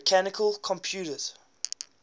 mechanical computers